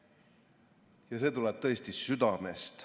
" Ja see tuleb tõesti südamest.